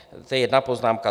To je jedna poznámka.